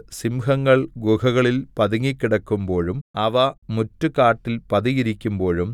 സിംഹങ്ങൾ ഗുഹകളിൽ പതുങ്ങിക്കിടക്കുമ്പോഴും അവ മുറ്റുകാട്ടിൽ പതിയിരിക്കുമ്പോഴും